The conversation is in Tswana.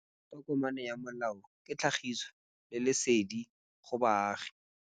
Tokomane ya molao ke tlhagisi lesedi go baagi.